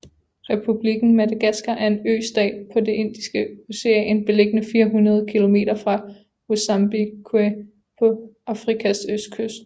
Republikken Madagaskar er en østat i det Indiske Ocean beliggende 400 kilometer fra Mozambique på Afrikas østkyst